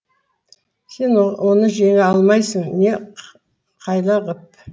сен оны жеңе алмайсың не қайла қып